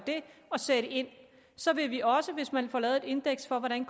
og sætte ind så vil vi også hvis man får lavet et indeks for hvordan